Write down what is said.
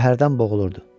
Qəhərdən boğulurdu.